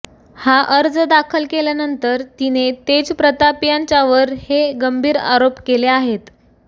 हा अर्ज दाखल केल्यानंतर तिने तेज प्रताप याच्यावर हे गंभीर आरोप केले आहेत